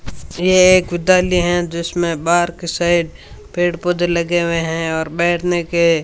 ये एक विद्यालय है जिसमें बाहर की साइड पेड़ पौधे लगे हुए है और बैठने के --